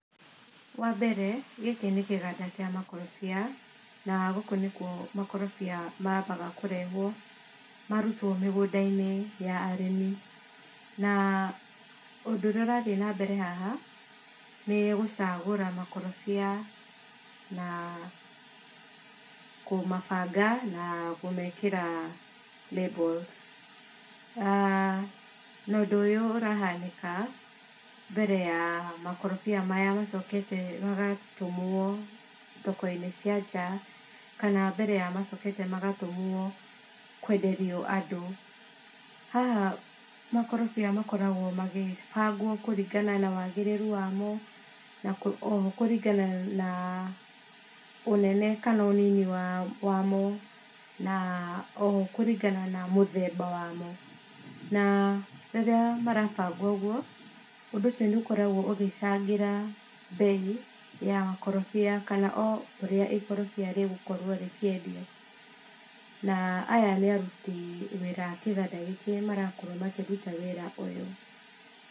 Wambere, gĩkĩ nĩkĩganda kĩa makorobia, na gũkũ nĩkuo makorobia mambaga kũrehwo, marutwo mĩgũndainĩ ya arĩmi. Na ũndũ ũrĩa ũrathiĩ nambere haha, nĩ gũcagũra makorobia, na kũmabanga na kũmekĩra labels. Na ũndũ ũyũ ũrahanĩka, mbere ya makorobia maya macokete magatũmwo thokoinĩ cia nja, kana mbere ya macokete magatũmwo kwenderio andũ. Haha makorobia makoragwo makibangwo kũringana na wagĩrĩru wamo, na oho kũringana na ũnene kana ũnini wa wamo. Na oho kũringana na mũthemba wamo. Na rĩrĩa marabangwo ũguo, ũndũ ũcio nĩ ũkoragwo ũgĩcangĩra mbei ya makorobia kana o ũrĩa ikorobia rĩgũkorwo rĩkĩendio. Na aya nĩ aruti wĩra kĩgandainĩ kĩrĩa marakorwo makĩruta wĩra ũyũ.